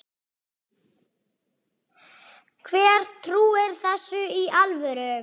Hver trúir þessu í alvöru?